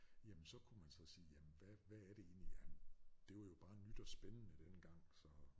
Jamen så kunne man så sige jamen hvad hvad er det egentlig jamen det var jo bare nyt og spændende dengang så